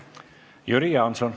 Jüri Jaanson.